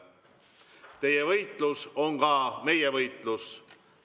Teie võitlus on ka meie võitlus.